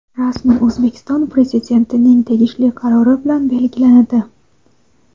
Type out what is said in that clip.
rasman O‘zbekiston Prezidentining tegishli qarori bilan belgilanadi.